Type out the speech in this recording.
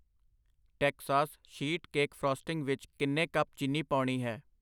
Texas sheet cake frosting ਵਿੱਚ ਕਿੰਨੇ cup ਚੀਨੀ ਪਾਉਣੀ ਹੈ?